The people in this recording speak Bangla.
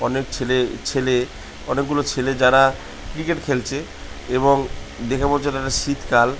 অনেক ছেলে ছেলে অনেকগুলো ছেলে যারা ক্রিকেট খেলছে এবং দেখে মনে হচ্ছে এটা শীতকাল।